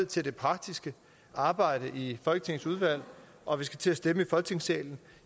til det praktiske arbejde i folketingets udvalg og vi skal til at stemme i folketingssalen